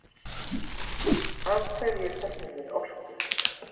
Af hverju söfnum við orku?